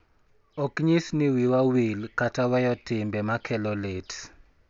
Ok nyis ni wiwa wil kata weyo timbe ma kelo lit